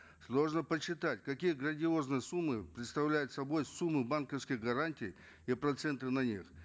сложно подсчитать какие грандиозные суммы представляют собой суммы банковских гарантий и проценты на них